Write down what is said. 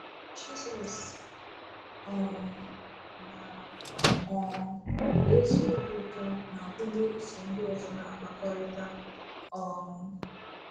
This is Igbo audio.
Jisọs um maara um na ezi obi ụtọ na-agụnye iso ndị ọzọ na-akpakọrịta. um